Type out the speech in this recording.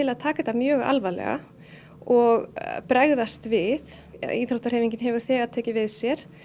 að taka þetta mjög alvarlega og bregðast við íþróttahreyfingin hefur þegar tekið við sér